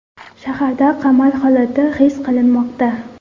Shaharda qamal holati his qilinmoqda.